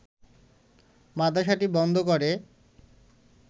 মাদ্রাসাটি বন্ধ করে